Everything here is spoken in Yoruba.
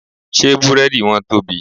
Ṣé Búrẹ́dì wọn tóbi?